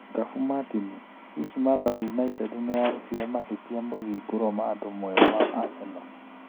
Ngabu Martin: Hihi Mathare United nĩyarutire mahĩtia 'Mũthingu Romado mwerũ wa Aseno'?